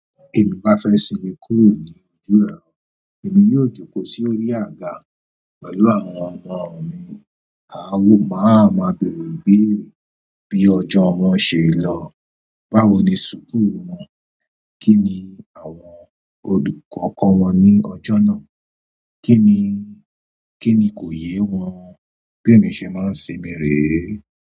Bí èmi bá fẹ́ sinmi kúrò ní èmi yóò jókò sí orí àga pẹ̀lú àwọn ọmọ mi. A máa ma bèèrè ìbéèrè bí ọjọ́ wọn ṣe lọ, báwo ni suku wọn, kí ni àwọn olùkọ́ kọ wọn ní ọjọ́ náà, kí ni, kí ni kò yé wọn bí èmi ṣe máa ń sinmi rèé.